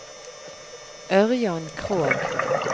Ørjan Krogh